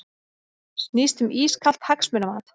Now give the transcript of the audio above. Snýst um ískalt hagsmunamat